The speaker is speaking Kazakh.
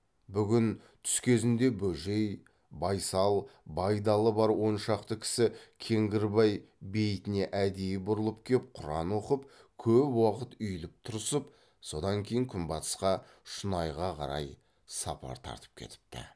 бүгін түс кезінде бөжей байсал байдалы бар он шақты кісі кеңгірбай бейітіне әдейі бұрылып кеп құран оқып көп уақыт үйіліп тұрысып содан кейін күнбатысқа шұнайға қарай сапар тартып кетіпті